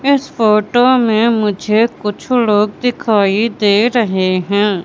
इस फोटो में मुझे कुछ लोग दिखाई दे रहे हैं।